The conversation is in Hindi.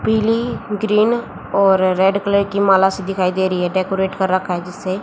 पीली ग्रीन और रेड कलर की माला सी दिखाई दे रही है डेकोरेट कर रखा है जिससे।